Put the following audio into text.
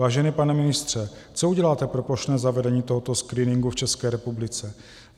Vážený pane ministře, co uděláte pro plošné zavedení tohoto screeningu v České republice?